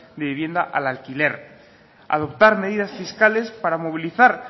de vivienda al alquiler adoptar medidas fiscales para movilizar